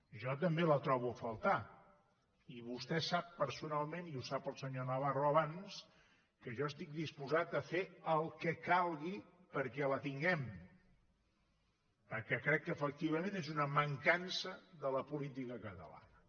jo també la trobo a faltar i vostè sap personalment i ho sabia el senyor navarro abans que jo estic disposat a fer el que calgui perquè la tinguem perquè crec que efectivament és una mancança de la política catalana